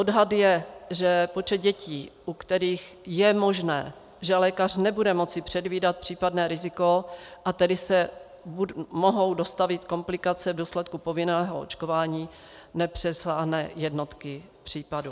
Odhad je, že počet dětí, u kterých je možné, že lékař nebude moci předvídat případné riziko, a tedy se mohou dostavit komplikace v důsledku povinného očkování, nepřesáhne jednotky případů.